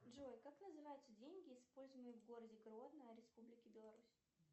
джой как называются деньги используемые в городе гродно республики беларусь